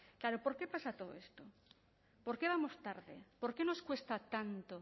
claro por qué pasa todo esto por qué vamos tarde por qué nos cuesta tanto